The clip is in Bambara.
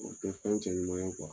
O tɛ fɛn cɛ ɲuman ye